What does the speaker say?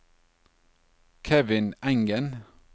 Kevin Engen